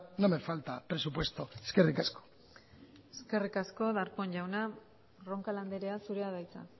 no me falta presupuesto eskerrik asko eskerrik asko darpón jauna roncal andrea zurea da hitza